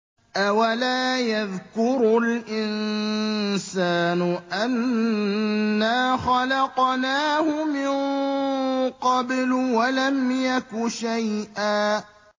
أَوَلَا يَذْكُرُ الْإِنسَانُ أَنَّا خَلَقْنَاهُ مِن قَبْلُ وَلَمْ يَكُ شَيْئًا